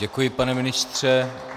Děkuji, pane ministře.